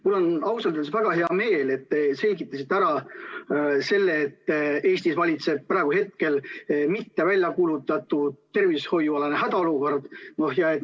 Mul on ausalt öeldes väga hea meel, et te selgitasite ära selle, et Eestis valitseb praegu mitte väljakuulutatud tervishoiualane hädaolukord.